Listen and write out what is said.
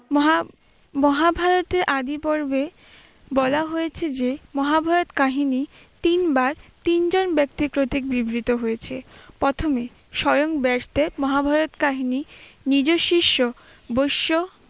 মহা- মহাভারতে আদিপর্বে বলা হয়েছে যে মহাভারত কাহিনী তিনবার তিনজন ব্যক্তির প্রতীক বিবৃত হয়েছে প্রথমে স্বয়ং ব্যাসদেব মহাভারত কাহিনী নিজের শিষ্য বৈশ্য